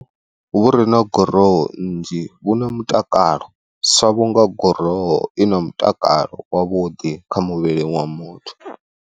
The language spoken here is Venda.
Vhu re na gurowu nnzhi vhu na mutakalo sa vhunga gurowu wo i na mutakalo wavhuḓi kha muvhili wa muthu.